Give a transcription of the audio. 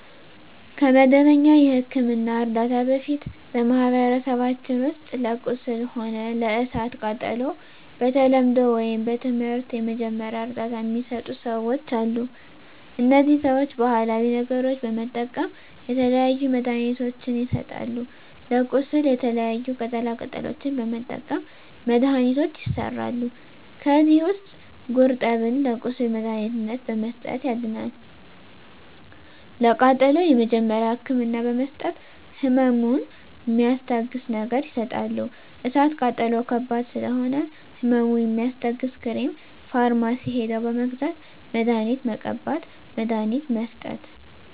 ከመደበኛ የሕክምና ዕርዳታ በፊት በማኀበረሰባችን ውስጥ ለቁስል ሆነ ለእሳት ቃጠሎው በተለምዶው ወይም በትምህርት የመጀመሪያ እርዳታ ሚሰጡ ሰዎች አሉ እነዚህ ሰዎች ባሀላዊ ነገሮች በመጠቀም የተለያዩ መድሀኒትችን ይሰጣሉ ለቁስል የተለያዩ ቅጠላ ቅጠሎችን በመጠቀም መድሀኒቶች ይሠራሉ ከዚህ ውስጥ ጉርጠብን ለቁስል መድሀኒትነት በመስጠት ያድናል ለቃጠሎ የመጀመሪያ ህክምና በመስጠት ህመሙን ሚስታግስ ነገር ይሰጣሉ እሳት ቃጠሎ ከባድ ስለሆነ ህመሙ የሚያስታግስ ክሬም ፈርማሲ ሄደው በመግዛት መድሀኒት መቀባት መድሀኒት መስጠት